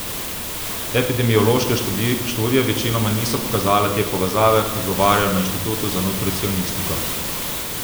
Epidemiološke študije večinoma niso pokazale te povezave, odgovarjajo na Inštitutu za nutricionistiko.